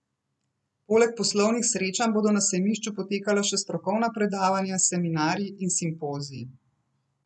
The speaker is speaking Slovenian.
Poleg poslovnih srečanj bodo na sejmišču potekala še strokovna predavanja, seminarji in simpoziji.